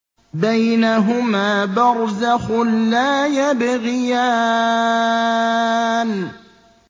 بَيْنَهُمَا بَرْزَخٌ لَّا يَبْغِيَانِ